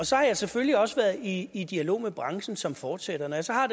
så har jeg selvfølgelig også været i i dialog med branchen som fortsætter når jeg så har